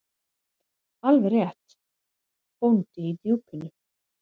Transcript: Alveg rétt: Bóndi í Djúpinu.